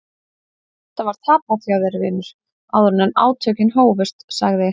Þetta var tapað hjá þér vinur áður en átökin hófust, sagði